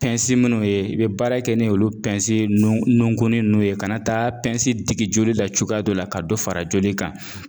minnu ye i bɛ baara kɛ ni olu nunkunin ninnu ye ka na taa digi joli la cogoya dɔ la ka dɔ fara joli kan